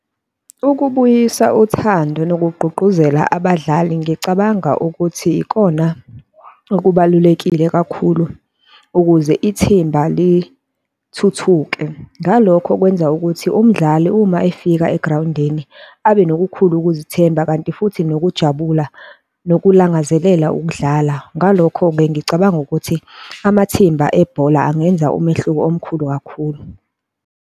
Ukubuyisa uthando nokugqugquzela abadlali, ngicabanga ukuthi ikona okubalulekile kakhulu ukuze ithimba lithuthuke. Ngalokho kwenza ukuthi umdlali uma efika egrawundini, abe nokukhula ukuzethemba, kanti futhi nokujabula, nokulangazelela ukudlala. Ngalokho-ke ngicabanga ukuthi amathimba ebhola angenza umehluko omkhulu kakhulu.